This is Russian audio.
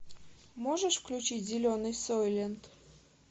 можешь включить зеленый сойлент